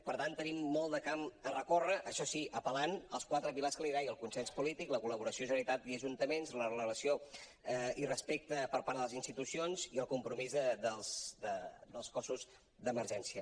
per tant tenim molt de camp per recórrer això sí apel·lant als quatre pilars que li deia el consens polític la col·laboració generalitat i ajuntaments la relació i respecte per part de les institucions i el compromís dels cossos d’emergència